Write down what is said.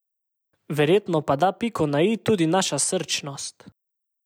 Verjetno pa da piko na i tudi naša srčnost.